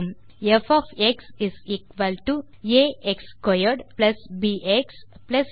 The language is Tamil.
ப் ஆ x2 ப் எக்ஸ் 3